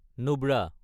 Nubra